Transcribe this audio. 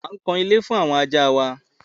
À ń kan ilé fún àwọn ajá wa.